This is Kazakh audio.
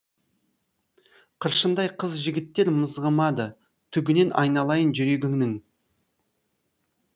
қыршындай қыз жігіттер мызғымады түгінен айналайын жүрегіңнің